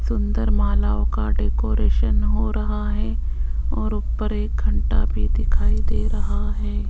सुंदर मालवों का डेकोरेशन हो रहा है और ऊपर एक घंटा भी दिखाई दे रहा है।